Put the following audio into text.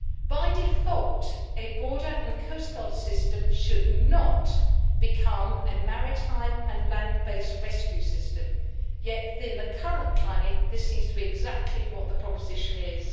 By default, a border and coast guard system should not become a maritime and land based rescue system yet, in the current climate, this seems to be exactly what the proposition is.